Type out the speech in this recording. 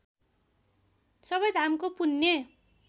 सबै धामको पुण्य